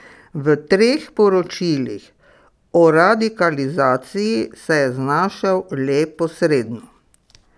V treh poročilih o radikalizaciji se je znašel le posredno.